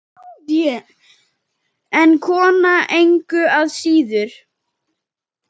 En kona engu að síður.